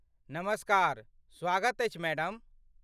नमस्कार, स्वागत अछि मैडम।